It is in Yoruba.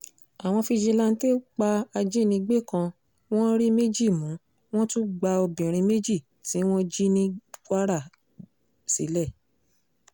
àwọn fijilanté pa ajínigbé kan wọ́n rí méjì mú wọ́n tún gba obìnrin méjì tí wọ́n jí ní kwara sílẹ̀